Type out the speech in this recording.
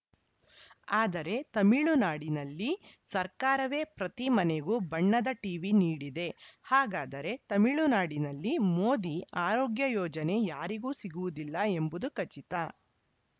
ಆದರೆ ತಮಿಳುನಾಡಿನಲ್ಲಿ ಸರ್ಕಾರವೇ ಪ್ರತಿ ಮನೆಗೂ ಬಣ್ಣದ ಟಿವಿ ನೀಡಿದೆ ಹಾಗಾದರೆ ತಮಿಳು ನಾಡಿನಲ್ಲಿ ಮೋದಿ ಆರೋಗ್ಯ ಯೋಜನೆ ಯಾರಿಗೂ ಸಿಗುವುದಿಲ್ಲ ಎಂಬುದು ಖಚಿತ